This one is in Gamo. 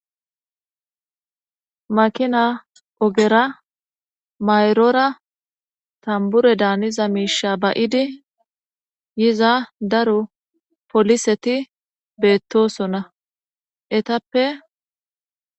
Makina ogera mayroora tambure daaniza miisha ba'idi yiza daro poliseti beettosona etappe.